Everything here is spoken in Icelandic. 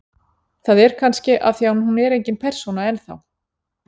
Það er kannski af því að hún er engin persóna enn þá.